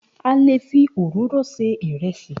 A le fi òróró se ìrẹsì.